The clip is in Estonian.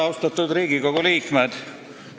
Austatud Riigikogu liikmed!